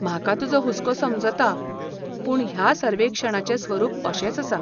म्हाका तुजो हुस्को समजता, पूण ह्या सर्वेक्षणाचें स्वरूप अशेंच आसा.